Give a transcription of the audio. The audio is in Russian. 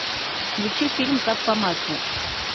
включи фильм как по маслу